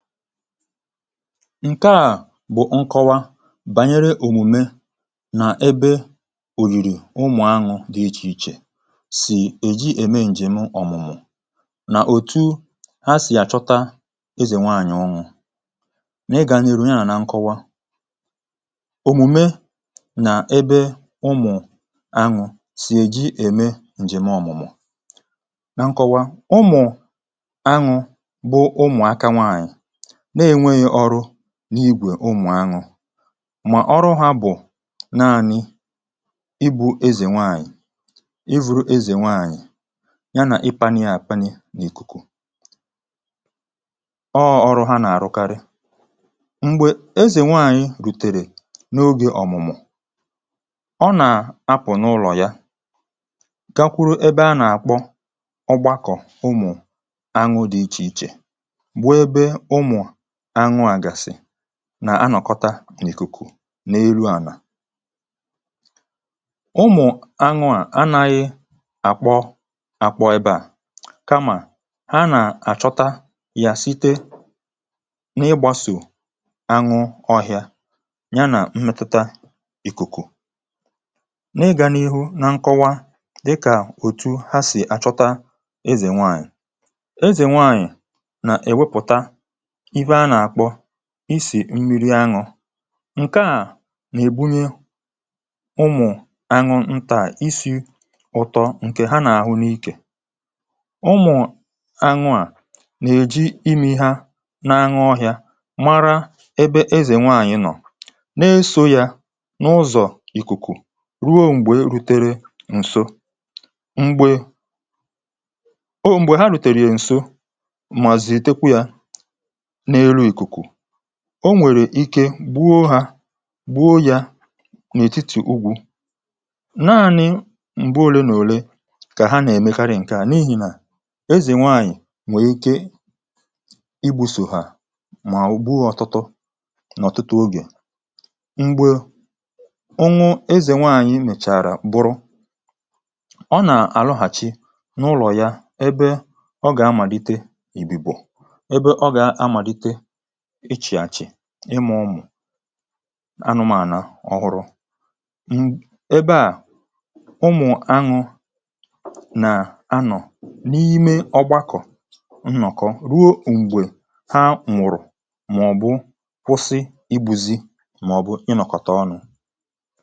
‎Ǹke à bụ̀ ǹkọwa bànyere òmùme nà ebe òyìrì ụmụ̀ anụ̇ dị̀ iche iche sì èji ème ǹjèm ọ̀mụ̀mụ̀, nà òtu ha sì àchọta ezè nwaànyị̀ oṅụ̀. Nà ị gànyèrè ya nà nkọwa, òmùme nà ebe ụmụ̀ anụ̇ sì èji ème ǹjèm ọ̀mụ̀mụ̀. Nà nkọwa, ụmụ̀ anụ̇ bụ̀ ụmụaka nwanyị na-ènweghị ọrụ n’igwè ụmụ̀ anụ̇, mà ọrụ ha bụ̀ naanị̇ ibu̇ ezè nwaànyị̀, iburu ezè nwaànyị̀, ya nà ịpanị àpanị n’ìkùkù. Ọọ̇ ọrụ ha nà-àrụkarị. Mgbè ezè nwaànyị̀ rùtèrè n’ogè ọ̀mụ̀mụ̀. Ọ nà-apụ̀ n’ụlọ̀ ya, gakwuru ebe a nà-àkpọ ọgbakọ umụ̀ anụ̇ dị iche iche, bụ ebe ụmụ anụ a gasi nà-anọ̀kọ̀tà n’ìkùkù, n’elu ànà. Ụmụ̀ anụ̇ à anaghị àkpọ àkpọ ebe à, kamà ha nà-àchọta yȧ site n’ịgbàsò anwụ̇ ọhị̇ȧ, yà nà mmètùtà ìkùkù. N’ịgà n’ihu nà nkọwa dịkà òtù ha sì àchọta ezè nwaànyị̀. Ezè nwaànyị̀ nà-èwepùta ife Ana akpọ isi̇ mmiri anwụ̇. Nke à nà-èbunye ụmụ̀ ànyụ ntà isi̇ ụtọ, ǹkè ha nà-àhụ n’ikė. Ụmụ̀ ànyụ à nà-èji imi̇ ha na-aṅụ ọhịȧ, mara ebe ezè nwaànyị̀ nọ̀, na-esò yȧ n’ụzọ̀ ìkùkù ruo m̀gbè rutere ǹso. M̀gbè mgbe ha rùtèrè ǹso, ma zetekwe a n'elu ikuku. O nwèrè ike gbuo hȧ, gbuo yȧ n’ètitì ugwu̇. Naanị̇ m̀gba òlemòle kà ha nà-èmekarị, ǹkè a n’ihì nà ezè nwaànyị̀ nwèe ike igbu̇ sòhà, mà ugbua, ọtụtụ nà ọ̀tụtụ ogè. Mgbe ọnwụ ezè nwaànyị̀ mèchàrà bụrụ, ọ nà-àlụghàchi n’ụlọ̀ ya, ebe ọ gà-amàlite ìbìbò, ebe ọ ga amalite ịchị achị, ịmȧ ọmụ̀ anụmànà ọhụrụ. Ṁ ebe à, ụmụ̀ anụ̇ nà-anọ̀ n’ime ọgbakọ̀ nnọ̀kọ, ruo m̀gbè ha mụ̀rụ̀, màọ̀bụ̀ kwụsị ibùzi, màọ̀bụ̀ ịnọ̀kọ̀tà ọnụ̇.